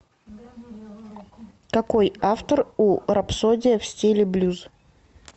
какой автор у рапсодия в стиле блюз